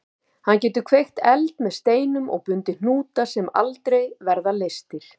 Hann getur kveikt eld með steinum og bundið hnúta sem aldrei verða leystir.